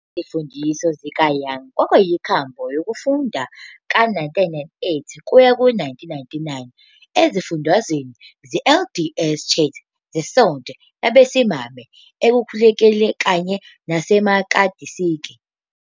Izimfundiso zikaYoung kwakuyinkambo yokufunda ka-1998-99 ezifundweni ze-LDS Church zeSonto Labesimame Ekhululekile kanye naseMelkisedeki.